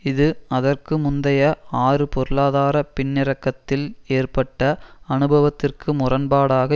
இது அதற்கு முந்தைய ஆறு பொருளாதார பின்னிறக்கத்தில் ஏற்பட்ட அனுபவத்திற்கு முரண்பாடாக